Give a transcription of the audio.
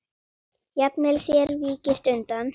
Jafnvel þér víkist undan!